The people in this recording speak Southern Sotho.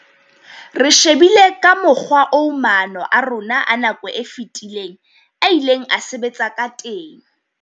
"Re shebile ka mokgwa oo maano a rona a nako e fetileng a ileng a sebetsa ka teng."